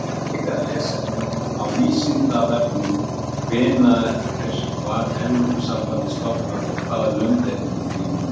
Frekara lesefni á Vísindavefnum: Hvenær var Evrópusambandið stofnað og hvaða lönd eru í því núna?